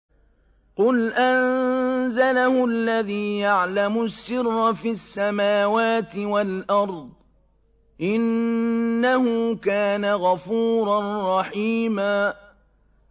قُلْ أَنزَلَهُ الَّذِي يَعْلَمُ السِّرَّ فِي السَّمَاوَاتِ وَالْأَرْضِ ۚ إِنَّهُ كَانَ غَفُورًا رَّحِيمًا